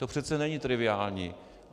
To přece není triviální.